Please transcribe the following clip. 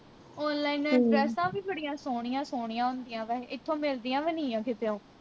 ਡਰੈਸਾਂ ਵੀ ਬੜੀਆ ਸੋਹਣੀਆਂ ਸੋਹਣੀਆਂ ਹੁੰਦੀਆਂ ਵੈਹੇ ਇਥੋ ਮਿਲਦੀਆਂ ਵੀ ਨਈ ਆ ਕਿਤੋਂ